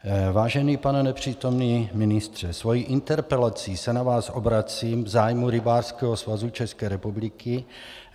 Vážený pane nepřítomný ministře, svou interpelací se na vás obracím v zájmu Rybářského svazu České republiky.